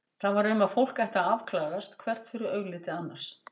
Það var um að fólk ætti að afklæðast hvert fyrir augliti annars.